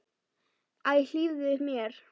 Æ, hlífðu mér!